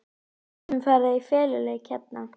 Við getum farið í feluleik hérna!